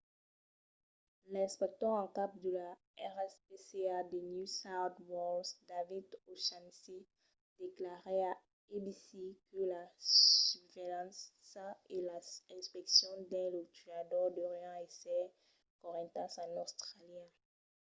l'inspector en cap de la rspca de new south wales david o'shannessy declarèt a abc que la susvelhança e las inspeccions dins los tuadors deurián èsser correntas en austràlia